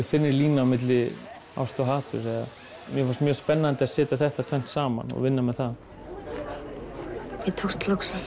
þynnri lína milli ástar og haturs mér fannst spennandi að setja þetta tvennt saman og vinna með það mér tókst loksins